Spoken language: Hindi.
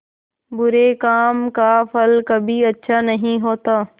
बुरे काम का फल कभी अच्छा नहीं होता